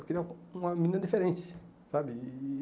Eu queria uma menina diferente, sabe? E e